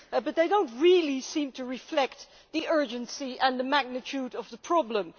However, they do not really seem to reflect the urgency and the magnitude of the problem.